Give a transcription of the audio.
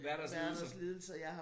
Werthers lidelser